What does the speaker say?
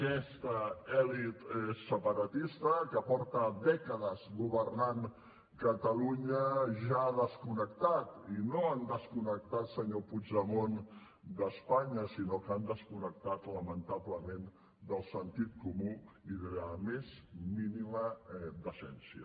aquesta elit separatista que fa dècades que governa catalunya ja ha desconnectat i no han desconnectat senyor puigdemont d’espanya sinó que han desconnectat lamentablement del sentit comú i de la més mínima decència